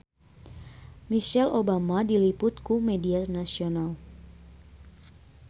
Michelle Obama diliput ku media nasional